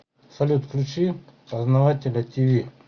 салют включи познавателя ти ви